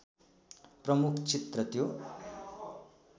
प्रमुख चित्र त्यो